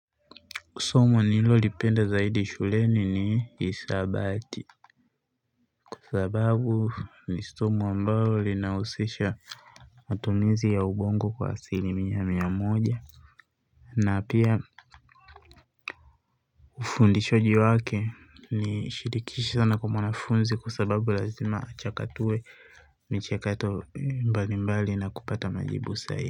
Somo nililolipenda zaidi shuleni ni hisabati. Kwa sababu ni somo ambalo linahusisha matumizi ya ubongo kwa asili mia mia moja. Na pia ufundishaji wake ni shilikisho sana kwa mwanafunzi kwa sababu lazima achakatue michekato mbalimbali na kupata majibu sahihi.